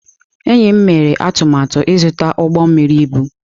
Enyi m mere atụmatụ ịzụta ụgbọ mmiri ibu.